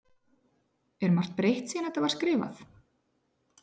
Er margt breytt síðan að þetta var skrifað?